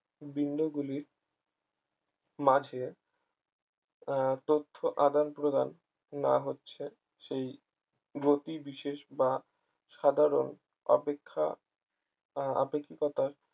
বিন্দুগুলির মাঝে আহ তথ্য আদান-প্রদান না হচ্ছে সেই গতি বিশেষ বা সাধারণ অপেক্ষা আহ আপেক্ষিকতার